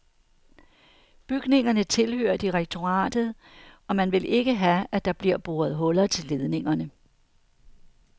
Bygningerne tilhører direktoratet, og man vil ikke have, at der bliver boret huller til ledningerne.